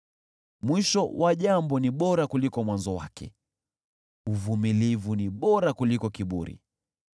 Mwisho wa jambo ni bora kuliko mwanzo wake, uvumilivu ni bora kuliko kiburi.